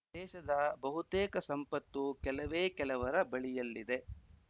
ನಮ್ಮ ದೇಶದ ಬಹುತೇಕ ಸಂಪತ್ತು ಕೆಲವೇ ಕೆಲವರ ಬಳಿಯಲ್ಲಿದೆ